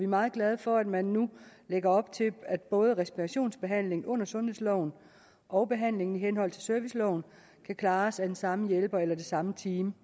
meget glade for at man nu lægger op til at både respirationsbehandling under sundhedsloven og behandlingen i henhold til serviceloven kan klares af den samme hjælper eller det samme team